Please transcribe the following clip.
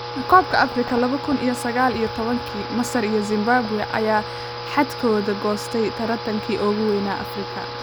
Kobka Afrika Laba kun iyo sagal iyo tobanka: Masar iyo Zimbabwe ayaa xadhkaha goostay tartanka ugu wayn Afrika